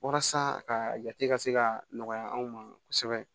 Walasa a ka jate ka se ka nɔgɔya anw ma kosɛbɛ